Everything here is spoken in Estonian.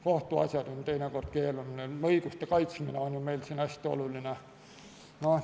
Kohtuasjad on teinekord keerulised, õiguste kaitsmine on meil hästi oluline.